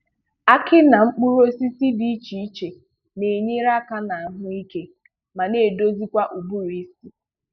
Aki na mkpụrụ ọsịsị dị ịche ịche n’enyere aka n’ahụ ịke ma na edọzịkwa ụbụrụịsị.